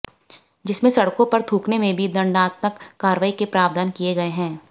जिसमें सड़कों पर थूकने में भी दंडात्मक कार्रवाई के प्रावधान किए गए हैं